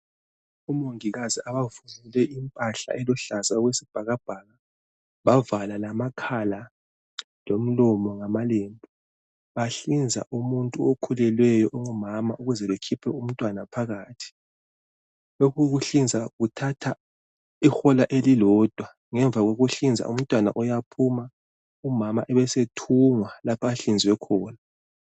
omongikazi abagqoke impahla eluhlaza okwesibhakabhaka bavala amakhala lomlomo ngamalembu bahlinza umuntu okhulelweyo ongumama ukuze bekhiphe umntwana phakathi lokhu ukuhlinza kuthatha ihola elilodwa ngomvakokuhlinzwa umntwana uyaphuma umama ebesethungwa lapha ahlinzwe khona